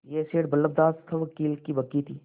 यह सेठ बल्लभदास सवकील की बग्घी थी